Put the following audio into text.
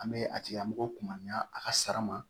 An bɛ a tigilamɔgɔw kunna a ka sara ma